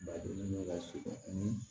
Badennin bɛ lasurun